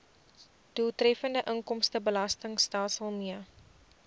doeltreffende inkomstebelastingstelsel mee